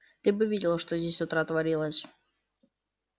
ты бы видела что здесь с утра творилось